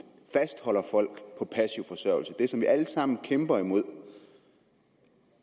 fastholder folk på passiv forsørgelse det er det som vi alle sammen kæmper imod